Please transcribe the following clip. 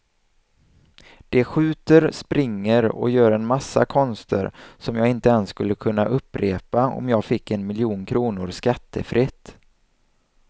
De skjuter, springer och gör en massa konster som jag inte ens skulle kunna upprepa om jag fick en miljon kronor skattefritt.